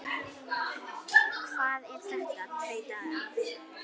Hvað er þetta? tautaði afi.